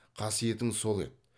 қасиетің сол еді